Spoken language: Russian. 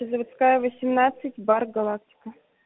заводская восемнадцать бар галактика